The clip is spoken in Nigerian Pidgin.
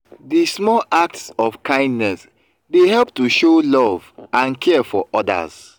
di small acts of kindness dey help to show love and care for odas.